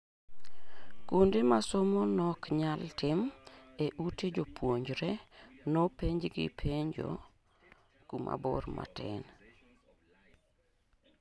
Kuonde ma somo nok nyal tim e ute jopuonjre, nopenj gi penjo kuma bor matin